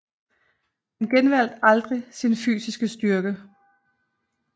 Han genvandt aldrig sin fysiske styrke